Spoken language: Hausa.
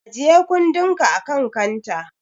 Ajiye kuɗinka akan kanta.